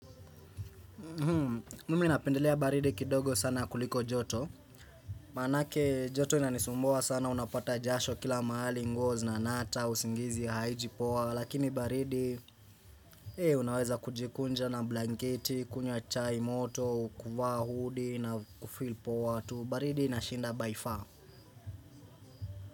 Mimi napendelea baridi kidogo sana kuliko joto Manake joto inanisumboa sana unapata jasho kila mahali nguo zinanata usingizi haiji powa Lakini baridi unaweza kujikunja na blanketi, kunywa chai moto, kuvaa hudi na hufeel poa tu baridi inashinda by far.